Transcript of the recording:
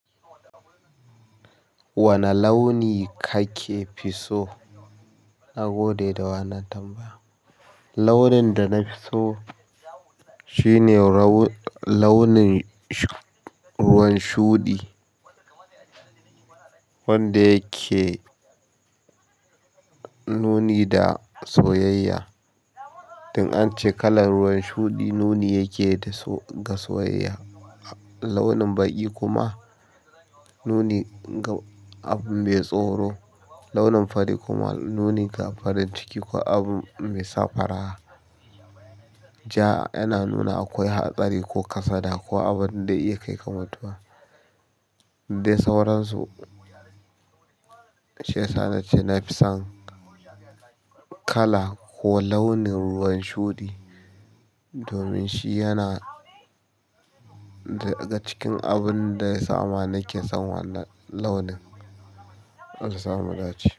Wane launi kake fi so a gode da wannan tambaya? Launin da nafi so shine launin ruwan shuɗi wanda yake nuni da soyayya. Don ance kalar ruwan shuɗi nuni yake da ga soyayya. Launin baƙi kuma nuni ga abin mai tsoro. Launin fari kuma nuni ga farin ciki ko abin mai safara. Ja yana nuna akwai hatsari ko kasada ko abun da iya kai ga mutuwa. Day sauransu, shiyasa nace nafi son kala ko launin ruwan shuɗi domin shi yana daga cikin abin da yasama nake son wannan launin, Allah samu dace.